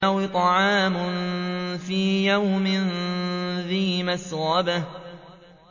أَوْ إِطْعَامٌ فِي يَوْمٍ ذِي مَسْغَبَةٍ